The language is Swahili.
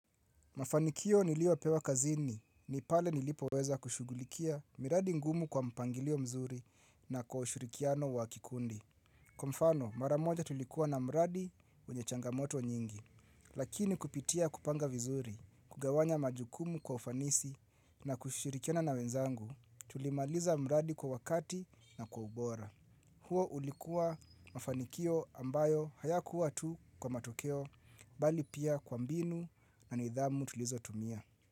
Mafanikio niliopewa kazini, ni pale nilipoweza kushugulikia miradi ngumu kwa mpangilio mzuri na kwa ushirikiano wa kikundi. Kwa mfano, maramoja tulikuwa na miradi wenye changamoto nyingi, lakini kupitia kupanga vizuri, kugawanya majukumu kwa ufanisi na kushirikiana na wenzangu, tulimaliza mradi kwa wakati na kwa ubora. Huo ulikua mafanikio ambayo hayakuwa tu kwa matokeo bali pia kwa mbinu na nidhamu tulizo tumia.